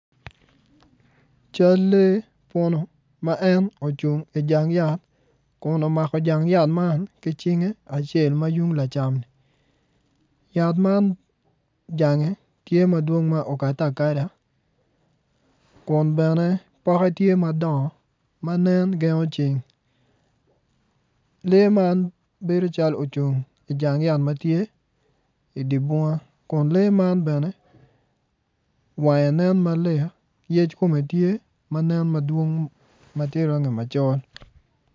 Cal lee puno ma ocung i jang yat kun omako jang yat ki cinge acel yat man jange tye madwong ma okadde akada kun bene poke tye madongo dok nen gengo ceng lee man bedo calo ocung i jang yat ma tye i dye bunga kun lee man bene wang nen malik yec kome tye ma nen madwong ma nen macol.